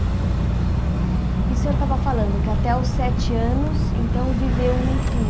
E o senhor estava falando que até os sete anos, então, viveu em Itu.